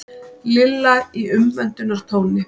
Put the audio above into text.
Lilla í umvöndunartóni.